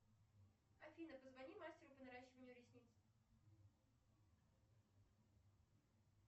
афина позвони мастеру по наращиванию ресниц